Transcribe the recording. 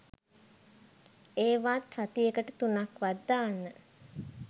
ඒවාත් සතියකට තුනක් වත් දාන්න.